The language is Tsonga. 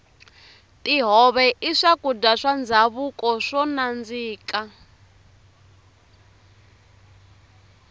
tihove i swakudya swa ndhavuko swo nandzika